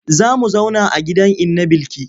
Za mu zauna a gidan inna Bilki.